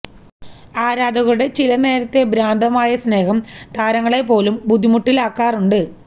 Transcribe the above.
ആരാധകരുടെ ചില നേരത്തെ ഭ്രാന്തമായ സ്നേഹം താരങ്ങളെ പോലും ബുദ്ധിമുട്ടിലാക്കാറുണ്ട്